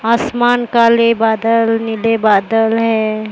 आसमान काले बादल नीले बादल हैं।